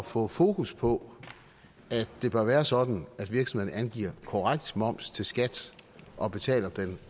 få fokus på at det bør være sådan at virksomhederne angiver en korrekt moms til skat og betaler